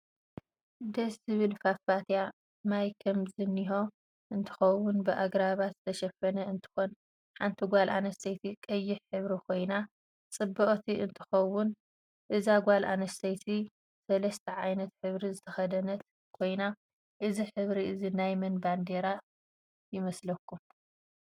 ድስ ዝብል ፋፋትያ ማይ ከም ዝንህ እንትከውን ብኣግራባት ዝተሸፈነ እንትኮን ሓንቲ ጋል ኣንስተይቲ ቀያሕ ሕብሪ ኮይና ፅብቅት እንትትኮን እዛ ጋል ኣንስተይቲ ሰልስተ ዓይነት ሕብሪ ዝተከደነት ኮይና እዚ ሕብሪ እዚ ናይ መን ባንደራ ይ መስለኩም?